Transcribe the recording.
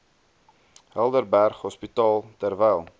helderberg hospitaal terwyl